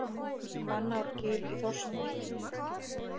Hvannárgil í Þórsmörk.